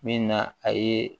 Min na a ye